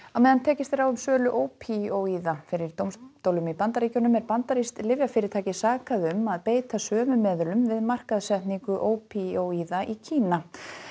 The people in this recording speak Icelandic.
á meðan tekist er á um sölu ópíóíða fyrir dómstólum í Bandaríkjunum er bandarískt lyfjafyrirtæki sakað um að beita sömu meðulum við markaðssetningu ópíóíða í Kína